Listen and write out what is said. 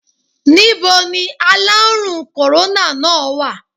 Níboni aláàrùn kòróná náà wà?